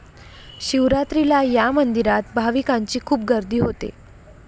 शिवरात्रीला या मंदिरात भाविकांची खूप गर्दी होते.